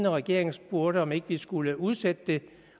regeringen spurgte om vi ikke skulle udsætte det